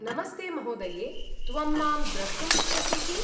नमस्ते महोदये, त्वं मां द्रष्टुम् इच्छसि किम्?